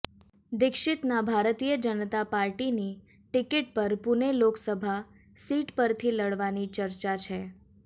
દીક્ષિતના ભારતીય જનતા પાર્ટીની ટિકિટ પર પૂણે લોકસભા સીટ પરથી લડવાની ચર્ચા છે